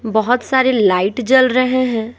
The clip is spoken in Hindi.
बहुत सारे लाइट जल रहे हैं।